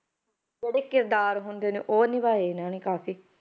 ਜਿਹੜੇ ਕਿਰਦਾਰ ਹੁੰਦੇ ਨੇ ਉਹ ਨਿਭਾਏ ਇਹਨਾਂ ਨੇ ਕਾਫ਼ੀ,